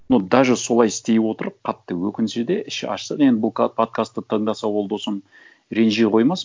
но даже солай істей отырып қатты өкінсе де іші ашыса да енді бұл подкастты тыңдаса ол досым ренжи қоймас